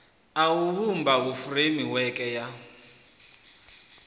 a u vhumba furemiweke ya